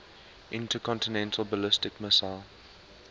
intercontinental ballistic missile